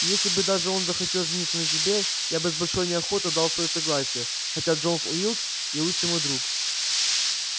и если бы даже он захотел жениться на тебе я бы с большой неохотой дал своё согласие хотя джон уилкс и лучший мой друг